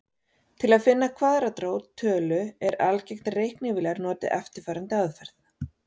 Til að finna kvaðratrót tölu er algengt að reiknivélar noti eftirfarandi aðferð.